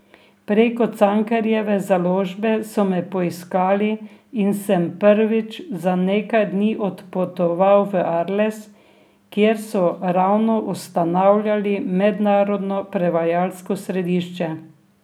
Preko Cankarjeve založbe so me poiskali in sem prvič za nekaj dni odpotoval v Arles, kjer so ravno ustanavljali mednarodno prevajalsko središče.